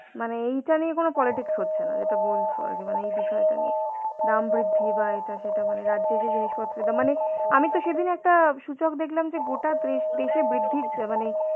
মানে এইটা নিয়ে কোন politics হচ্ছে না যেটা বলছো আরকি মানে এই বিষয়টা নিয়ে. দাম বৃদ্ধি বা এটা সেটা মানে রাজ্যে যে জিনিসপত্রের দাম মানে আমি তো সেদিন একটা সূচক দেখলাম যে গোটা ত্রিশ ত্রিশে বৃদ্ধির চ মানে,